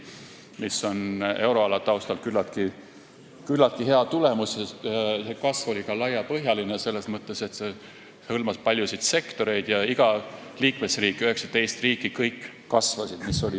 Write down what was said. See on euroala taustal küllaltki hea tulemus, kasv oli ka laiapõhjaline – selles mõttes, et hõlmas paljusid sektoreid – ja kõigi 19 liikmesriigi majandus kasvas.